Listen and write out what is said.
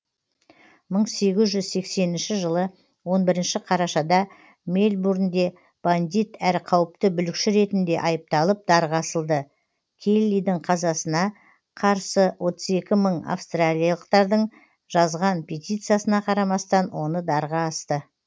мың сегіз жүз сексенінші жылы он бірінші қарашада мельбурнде бандит әрі қауіпті бүлікші ретінде айыпталып дарға асылды келлидің қазасына қарсы отыз екі мың австралиялықтардың жазған петициясына қарамастан оны дарға асты